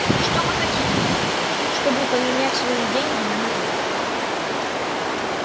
что вы хотите чтобы поменять свои деньги на мои